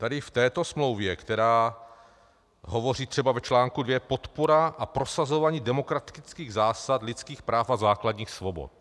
Tady v této smlouvě, která hovoří třeba v článku 2 Podpora a prosazování demokratických zásad, lidských práv a základních svobod.